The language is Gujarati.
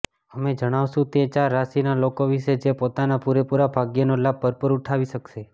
અમે જણાવશું તે ચાર રાશિના લોકો વિશે જે પોતાના પુરેપુરા ભાગ્યનો લાભ ભરપુર ઉઠાવી શકશે